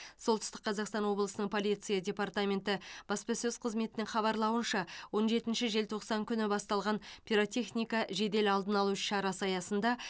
солтүстік қазақстан облысы полиция департаменті баспасөз қызметінің хабарлауынша он жетінші желтоқсан күні басталған пиротехника жедел алдын алу іс шарасы аясында